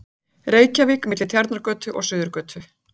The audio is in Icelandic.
Reykjavík, milli Tjarnargötu og Suðurgötu.